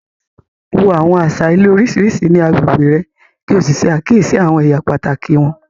Wo àwọn àṣà ilé oríṣiríṣi ní agbègbè rẹ̀ kí o ṣe àkíyèsí àwọn ẹ̀yà pàtàkì wọn.